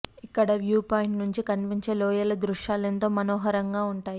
ఇక్కడి view point నుంచి కనిపించే లోయల దృశ్యాలు ఎంతో మనోహరంగా ఉంటాయి